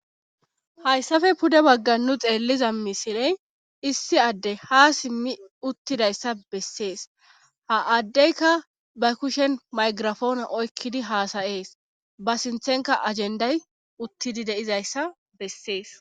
hayssafe pude bagga nu xeelliza misiley issi adde ha simmi uttidayssa bessees ha addeyka ba kushen maygirafoone oykkidi haasayees ba sinthenka ajenday uttidi deizayssa bessees